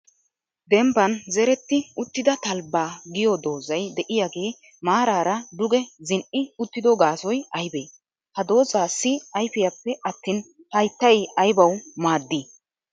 Dembban zeretti uttida talbbaa giyo doozay de'iyaage maarara duge zin"i uttido gaasoy aybbe? Ha doozassi ayfiyappe atin haytta aybbaw maaddi?